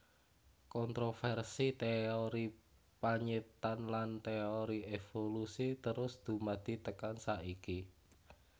Kontrovèrsi téori panyiptan lan téori évolusi terus dumadi tekan saiki